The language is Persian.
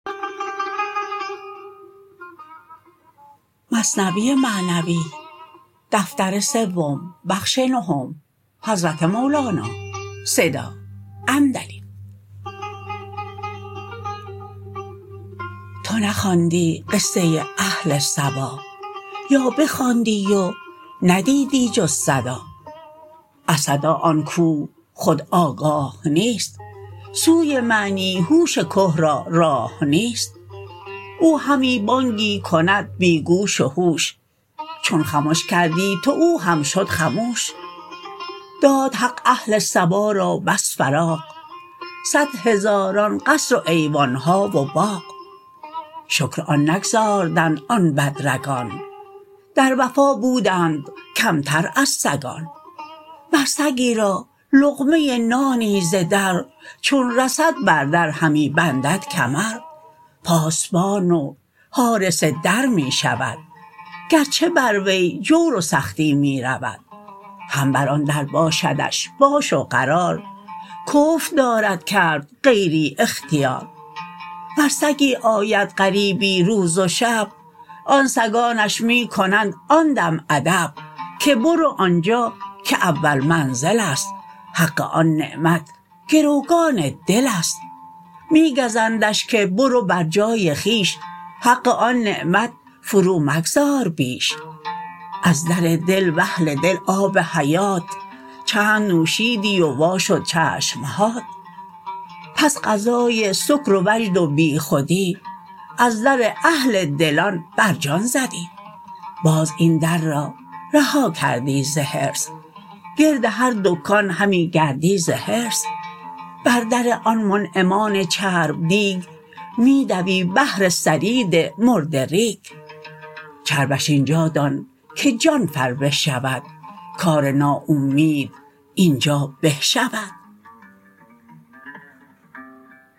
تو نخواندی قصه اهل سبا یا بخواندی و ندیدی جز صدا از صدا آن کوه خود آگاه نیست سوی معنی هوش که را راه نیست او همی بانگی کند بی گوش و هوش چون خمش کردی تو او هم شد خموش داد حق اهل سبا را بس فراغ صد هزاران قصر و ایوان ها و باغ شکر آن نگزاردند آن بد رگان در وفا بودند کمتر از سگان مر سگی را لقمه نانی ز در چون رسد بر در همی بندد کمر پاسبان و حارس در می شود گرچه بر وی جور و سختی می رود هم بر آن در باشدش باش و قرار کفر دارد کرد غیری اختیار ور سگی آید غریبی روز و شب آن سگانش می کنند آن دم ادب که برو آنجا که اول منزل است حق آن نعمت گروگان دل است می گزندش که برو بر جای خویش حق آن نعمت فرو مگذار بیش از در دل و اهل دل آب حیات چند نوشیدی و وا شد چشمهات بس غذای سکر و وجد و بی خودی از در اهل دلان بر جان زدی باز این در را رها کردی ز حرص گرد هر دکان همی گردی ز حرص بر در آن منعمان چرب دیگ می دوی بهر ثرید مرده ریگ چربش اینجا دان که جان فربه شود کار نااومید اینجا به شود